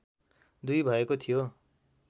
२ भएको थियो